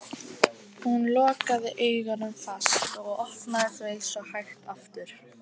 Hún lokaði augunum fast og opnaði þau svo hægt aftur.